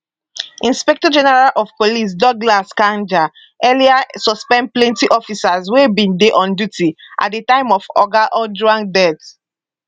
inspectorgeneral of police douglas kanja earlier suspend plenty officers wey bin dey on duty at di time of oga ojwang death